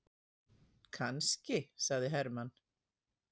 Kannski, sagði Hermann.